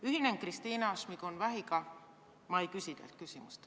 Ühinen Kristina Šmigun-Vähiga ega esita küsimust.